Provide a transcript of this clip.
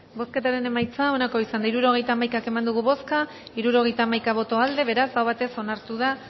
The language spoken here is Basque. bozketaren emaitza onako izan da hirurogeita hamaika eman dugu bozka hirurogeita hamaika boto aldekoa beraz aho batez onartu da